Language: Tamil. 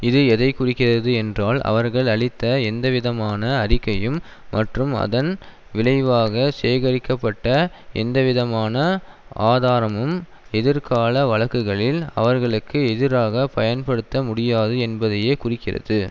இது எதை குறிக்கிறது என்றால் அவர்கள் அளித்த எந்தவிதமான அறிக்கையும் மற்றும் அதன் விளைவாக சேகரிக்கப்பட்ட எந்தவிதமான ஆதாரமும் எதிர்கால வழக்குகளில் அவர்களுக்கு எதிராக பயன்படுத்த முடியாது என்பதையே குறிக்கிறது